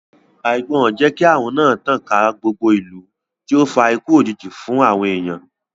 Àìgbọràn jẹ́ kí ààrùn náà tàn ká gbogbo ìlú náà tí ó fa ikú òjijì fún àwọn èèyàn